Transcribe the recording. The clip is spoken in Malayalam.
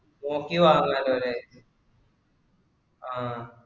നോക്കി വാങ്ങാലോ അല്ലെ ആഹ്